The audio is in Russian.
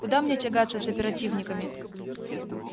куда мне тягаться с оперативниками